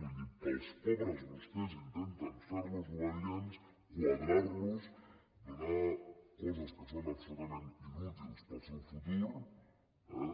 vull dir per als pobres vostès intenten fer los obedients quadrar los donar coses que són absolutament inútils per al seu futur